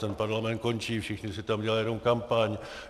Ten parlament končí, všichni si tam dělají jenom kampaň.